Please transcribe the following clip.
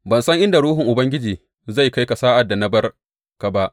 Ban san inda Ruhun Ubangiji zai kai ka sa’ad da na bar ka ba.